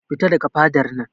Fita daga fadar nan!